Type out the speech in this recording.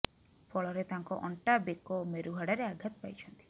ଫଳରେ ତାଙ୍କ ଅଣ୍ଟା ବେକ ଓ ମେରୁହାଡ଼ରେ ଆଘାତ ପାଇଛନ୍ତି